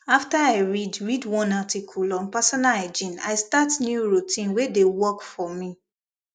after i read read one article on personal hygiene i start new routine wey dey work for me